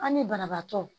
An ni banabaatɔ